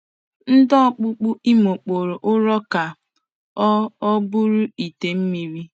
Ndị ọkpụkpụ Imo kpụrụ ụrọ ka ọ ọ bụrụ ite mmiri.